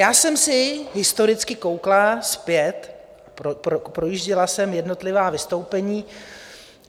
Já jsem se historicky koukla zpět, projížděla jsem jednotlivá vystoupení.